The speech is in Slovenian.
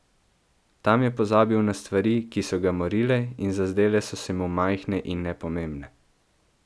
Tam je pozabil na stvari, ki so ga morile in zazdele so se mu majhne in nepomembne.